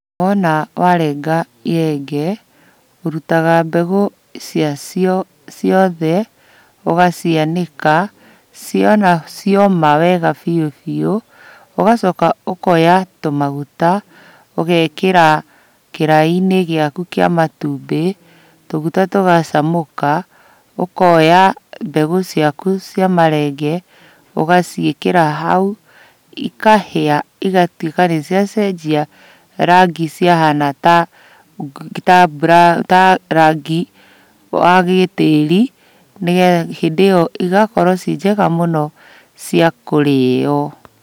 Wona warenga irenge ũrutaga mbegũ ciacio ciothe ũgacianĩka wona cioma wega biũbiũ. Ũgacoka ũkoya tũmagũta ũgekĩra kĩraĩinĩ gĩaku kĩa matumbĩ tũguta tũgacamũka, ũkoya mbegũ ciaku cia marenge ũgaciĩkĩra hau ikahĩa igatuĩka nĩcia cenjia rangi ciahana ta rangi wa gĩtĩri hĩndĩ ĩyo igakorwo ciĩ njega mũno cia kũrĩyo.